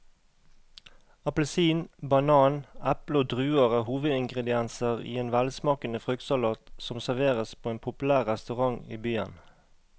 Appelsin, banan, eple og druer er hovedingredienser i en velsmakende fruktsalat som serveres på en populær restaurant i byen.